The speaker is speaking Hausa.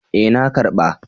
E, na ƙarba.